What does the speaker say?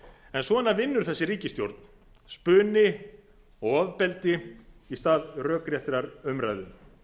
en svona vinnur þessi ríkisstjórn spuni og ofbeldi í stað rökréttrar umræðu